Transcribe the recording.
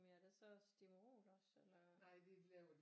Men er der så Stimorol også eller